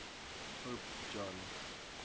pope john